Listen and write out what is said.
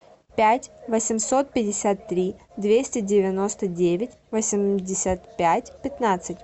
пять восемьсот пятьдесят три двести девяносто девять восемьдесят пять пятнадцать